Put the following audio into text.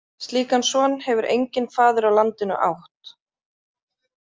Slíkan son hefur enginn faðir á landinu átt.